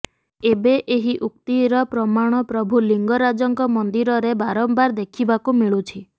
ଏବେ ଏହି ଉକ୍ତିର ପ୍ରମାଣ ପ୍ରଭୁ ଲିଙ୍ଗରାଜଙ୍କ ମନ୍ଦିରରେ ବାରମ୍ବାର ଦେଖିବାକୁ ମିଳୁଛି